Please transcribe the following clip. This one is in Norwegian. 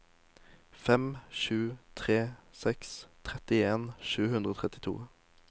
fem sju tre seks trettien sju hundre og trettito